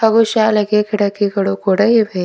ಹಾಗೂ ಶಾಲೆಗೆ ಕಿಡಕಿಗಳು ಕೂಡ ಇವೆ.